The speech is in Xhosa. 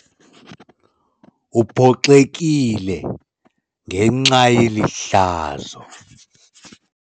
Uphoxekile ngenxa yeli hlazo.